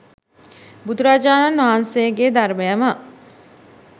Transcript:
බුදුරජාණන් වහන්සේගේ ධර්මයම